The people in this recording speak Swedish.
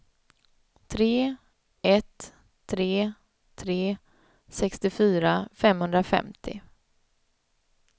tre ett tre tre sextiofyra femhundrafemtio